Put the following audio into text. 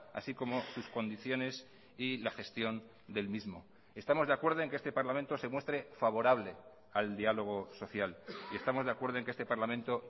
así como sus condiciones y la gestión del mismo estamos de acuerdo en que este parlamento se muestre favorable al diálogo social y estamos de acuerdo en que este parlamento